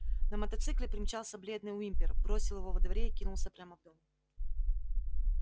на мотоцикле примчался бледный уимпер бросил его во дворе и кинулся прямо в дом